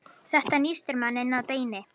Þetta nístir mann inn að beini